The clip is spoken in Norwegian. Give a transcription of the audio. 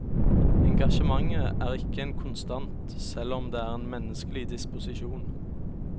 Engasjementet er ikke en konstant, selv om det er en menneskelig disposisjon.